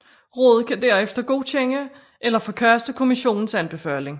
Rådet kan derefter godkende eller forkaste Kommissionens anbefaling